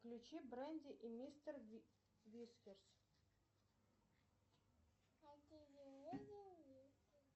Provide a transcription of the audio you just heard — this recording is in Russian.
включи бренди и мистер вискерс